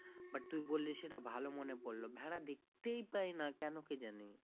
But তুই বললি সেটা ভালো মনে পড়লো, ভেড়া দেখতেই পায় না কেন কে জানে।